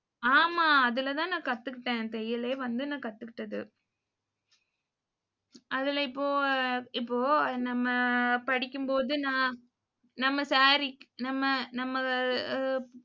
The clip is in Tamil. ஆமா, அதுலதான் நான் கத்துக்கிட்டேன். தையலே வந்து நான் கத்துக்கிட்டது. அதுல இப்போ இப்போ நம்ம படிக்கும்போது நான் நம்ம saree நம்ம நம்ம அஹ் அஹ்